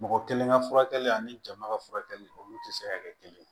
Mɔgɔ kelen ka furakɛli ani jama ka furakɛli olu tɛ se ka kɛ kelen ye